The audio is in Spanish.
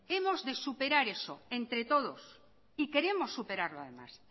hemos de superar eso entre todos y queremos superarlo además